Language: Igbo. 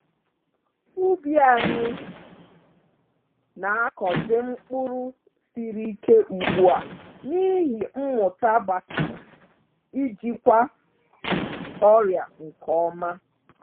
Ubi anyị na-akọzi mkpụrụ siri ike ugbu a n’ihi mmụta gbasara ijikwa ọrịa nke ọma